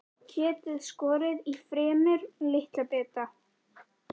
Kjötið skorið í fremur litla bita.